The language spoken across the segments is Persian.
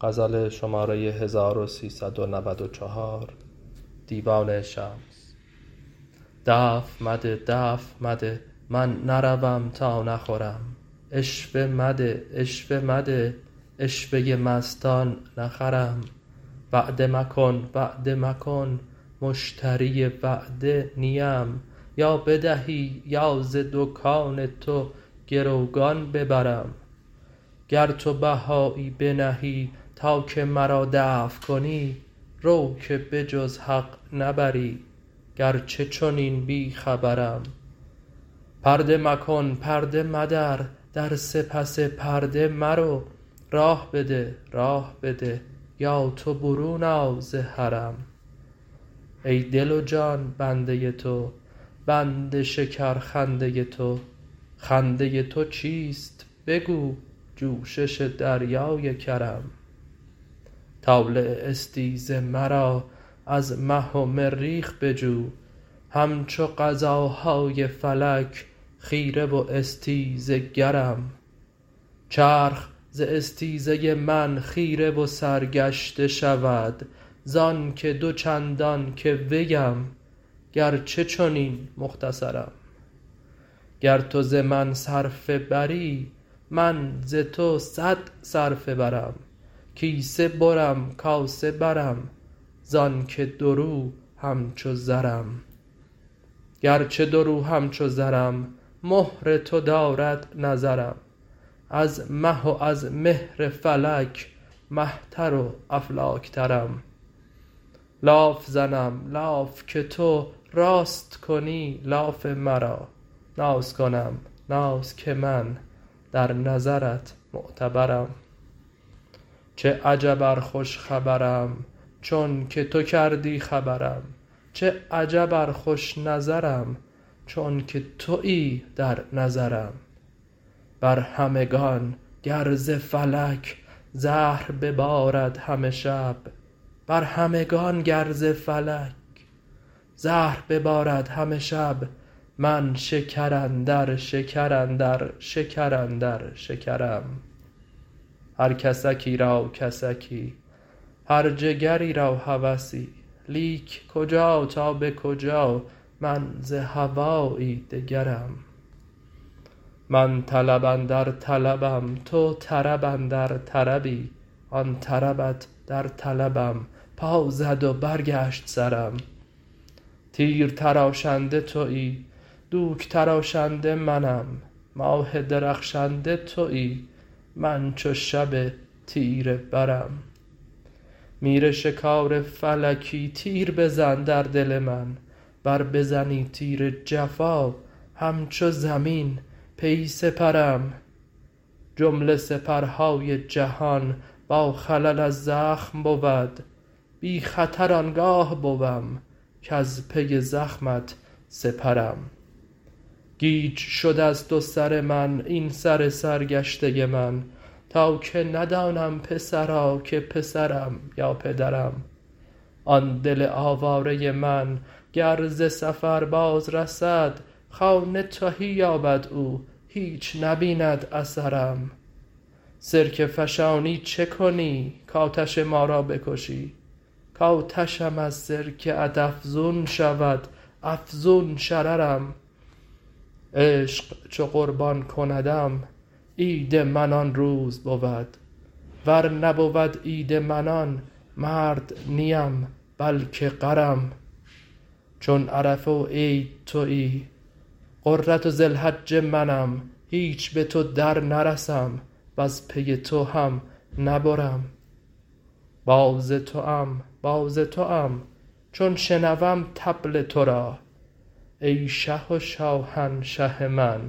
دفع مده دفع مده من نروم تا نخورم عشوه مده عشوه مده عشوه ی مستان نخرم وعده مکن وعده مکن مشتری وعده نی ام یا بدهی یا ز دکان تو گروگان ببرم گر تو بهایی بنهی تا که مرا دفع کنی رو که به جز حق نبری گرچه چنین بی خبرم پرده مکن پرده مدر در سپس پرده مرو راه بده راه بده یا تو برون آ ز حرم ای دل و جان بنده تو بند شکرخنده ی تو خنده ی تو چیست بگو جوشش دریای کرم طالع استیز مرا از مه و مریخ بجو همچو قضاهای فلک خیره و استیزه گرم چرخ ز استیزه من خیره و سرگشته شود زانک دو چندان که ویم گرچه چنین مختصرم گر تو ز من صرفه بری من ز تو صد صرفه برم کیسه برم کاسه برم زانک دورو همچو زرم گرچه دورو همچو زرم مهر تو دارد نظرم از مه و از مهر فلک مه تر و افلاک ترم لاف زنم لاف که تو راست کنی لاف مرا ناز کنم ناز که من در نظرت معتبرم چه عجب ار خوش خبرم چونک تو کردی خبرم چه عجب ار خوش نظرم چونک توی در نظرم بر همگان گر ز فلک زهر ببارد همه شب من شکر اندر شکر اندر شکر اندر شکرم هر کسکی را کسکی هر جگری را هوسی لیک کجا تا به کجا من ز هوایی دگرم من طلب اندر طلبم تو طرب اندر طربی آن طربت در طلبم پا زد و برگشت سرم تیر تراشنده توی دوک تراشنده منم ماه درخشنده توی من چو شب تیره برم میرشکار فلکی تیر بزن در دل من ور بزنی تیر جفا همچو زمین پی سپرم جمله سپرهای جهان باخلل از زخم بود بی خطر آن گاه بوم کز پی زخمت سپرم گیج شد از تو سر من این سر سرگشته من تا که ندانم پسرا که پسرم یا پدرم آن دل آواره من گر ز سفر بازرسد خانه تهی یابد او هیچ نبیند اثرم سرکه فشانی چه کنی کآتش ما را بکشی کآتشم از سرکه ات افزون شود افزون شررم عشق چو قربان کندم عید من آن روز بود ور نبود عید من آن مرد نی ام بلک غرم چون عرفه و عید توی غره ذی الحجه منم هیچ به تو درنرسم وز پی تو هم نبرم باز توام باز توام چون شنوم طبل تو را ای شه و شاهنشه من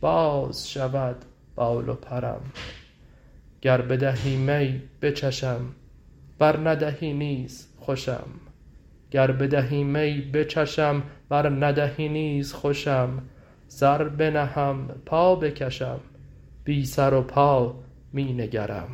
باز شود بال و پرم گر بدهی می بچشم ور ندهی نیز خوشم سر بنهم پا بکشم بی سر و پا می نگرم